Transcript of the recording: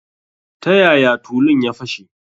Ta yaya tulun ya fashe?